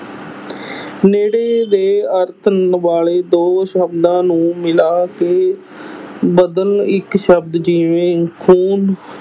ਨੇੜੇ ਦੇ ਅਰਥ ਵਾਲੇ ਦੋ ਸ਼ਬਦਾਂ ਨੂੰ ਮਿਲਾ ਕੇ ਬਦਲ ਇੱਕ ਸ਼ਬਦ ਜਿਵੇਂ ਖ਼ੂਨ